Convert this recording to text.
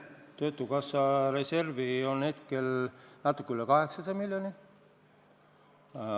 Töötukassa reservi on hetkel natuke üle 800 miljoni.